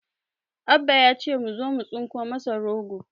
Abba ya ce mu zamu tsinko masa goro